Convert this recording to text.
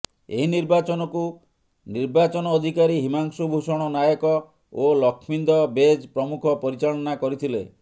ଏହି ନିର୍ବାଚନକୁ ନିର୍ବାଚନ ଅଧିକାରୀ ହିମାଂଶୁ ଭୂଷଣ ନାୟକ ଓ ଲକ୍ଷ୍ମୀନ୍ଦ ବେଜ ପ୍ରମୁଖ ପରିଚାଳନା କରିଥିଲେ